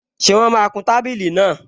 Ṣé wọ́n máa kun tábìlì náà?